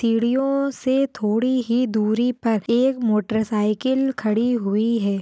सीड़ीओ से थोड़ी ही दूरी पर एक मोटर साइकिल खड़ी हुई है।